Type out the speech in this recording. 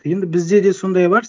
енді бізде де сондай бар